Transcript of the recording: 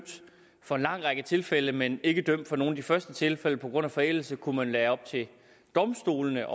for en lang række tilfælde men ikke dømt for nogle af de første tilfælde på grund af forældelse kunne man være op til domstolene